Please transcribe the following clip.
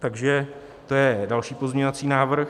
Takže to je další pozměňovací návrh.